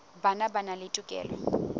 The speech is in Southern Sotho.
bona ba na le tokelo